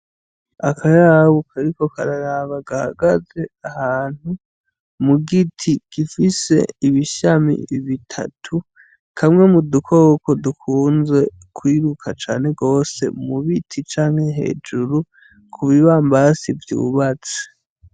Akayabu kariko kararaba gahagaze ahantu mugiti gifise ibishami bitatu kamwe mudukoko dukunze kwiruka cane gwose mubiti canke hejuru kubibambazi vyubatse.